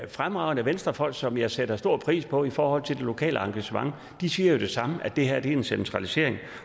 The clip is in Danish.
fremragende venstrefolk som jeg sætter stor pris på i forhold til det lokale engagement siger det samme nemlig at det her er en centralisering